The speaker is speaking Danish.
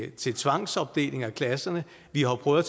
til tvangsopdeling af klasserne vi har jo prøvet